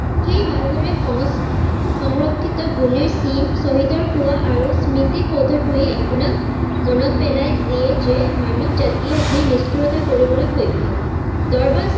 সেই ভালদৰে সংস্কৃতি সংৰক্ষতি গুলিৰ চিন শ্বহীদৰ কুৱা আৰু স্মৃতি শোধ তোৱে আপোনাক মনত পেলায় দিয়ে যে মানৱ জাতিয়ে যি নিস্থুৰতা কৰিবলৈ সক্ষম